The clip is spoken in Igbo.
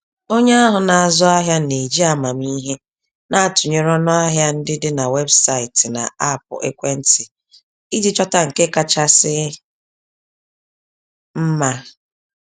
Onye ahụ na-azụ ahịa n'eji amamihe na-atụnyere ọnụahịa ndị dị na websaịtị na aapụ ekwentị iji chọta ndị nke kachasị mma.